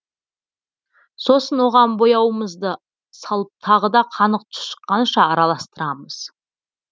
сосын оған бояуымызды салып тағы да қанық түс шыққанша араластырамыз